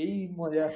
এই মজা